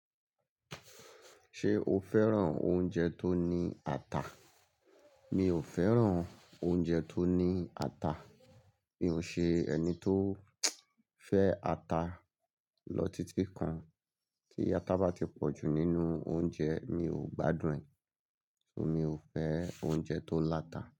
Ṣé o fẹ́ràn oúnjẹ tó ní ata? Mi ò fẹ́ràn oúnjẹ tó ní ata. Mi ò ṣe ẹni tó fẹ́ ata. Lọ títí kan tí ata bá ti pọ̀ jù nínú oúnjẹ mi ò gbádùn ẹ̀. Mi ò fẹ́ oúnjẹ tó láta.